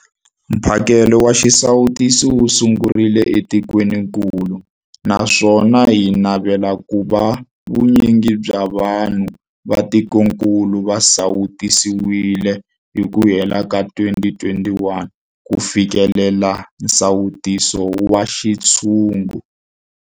Mphakelo wa xisawutisi wu sungurile etikwenikulu naswona hi navela ku va vu nyingi bya vanhu va tikokulu va sawutisiwile hi ku hela ka 2021 ku fikelela nsawuto wa xintshungu.